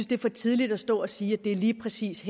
det er for tidligt at stå og sige at det lige præcis